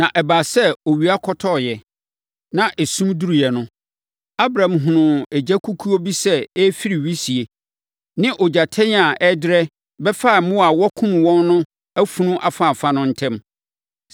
Na ɛbaa sɛ owia kɔtɔeɛ, na esum duruiɛ no, Abram hunuu egyakukuo bi sɛ ɛrefiri wisie ne ogyatɛn a ɛrederɛ bɛfaa mmoa a wɔakum wɔn no afunu afaafa no ntam.